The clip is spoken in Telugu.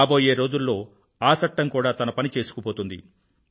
రాబోయే రోజుల్లో ఆ చట్టం కూడా తన పని చేసుకుపోతుంది